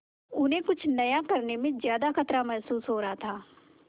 उन्हें कुछ नया करने में ज्यादा खतरा महसूस हो रहा था